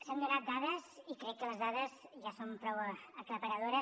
s’han donat dades i crec que les dades ja són prou aclaparadores